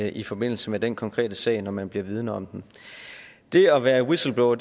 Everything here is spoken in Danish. i forbindelse med den konkrete sag når man var blevet vidende om den det at være whistleblower